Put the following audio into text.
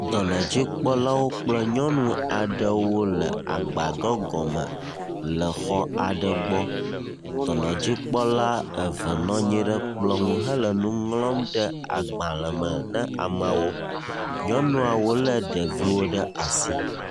Dɔnɔdzikpɔlawo kple nyɔnu aɖewo le agbadɔ gɔme le xɔ aɖe gbɔ. Dɔnɔdzikpɔla eve nɔ anyi ɖe kplɔ ŋu hele nu ŋlɔm ɖe agbalẽ me na ameawo. Nyɔnuawo lé ɖeviawo ɖe asi.